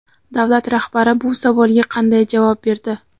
Davlat rahbari bu savolga qanday javob berdi?.